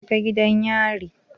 Jeka gidan yari.